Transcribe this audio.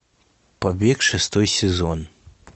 побег шестой сезон